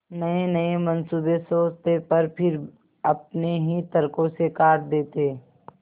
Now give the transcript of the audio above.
नयेनये मनसूबे सोचते पर फिर अपने ही तर्को से काट देते